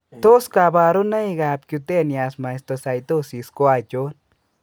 Tos kabarunoik ab Cutaneous mastocytosis ko achon?